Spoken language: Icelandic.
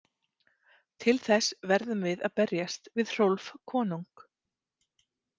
Til þess verðum við að berjast við Hrólf konung.